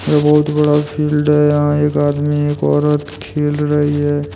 बहुत बड़ा फील्ड है यहां एक आदमी एक औरत खेल रही है।